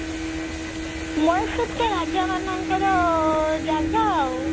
ମୟୀଶୁର ତ ରାଜା ମାନଙ୍କର ଜାଗା ଆଉ